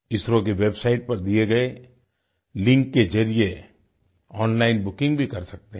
इसरो की वेबसाइट पर दिए गए लिंक के ज़रिये ओनलाइन बुकिंग भी कर सकते हैं